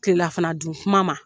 kilelafana dun kuma ma.